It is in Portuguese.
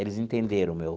Eles entenderam o meu...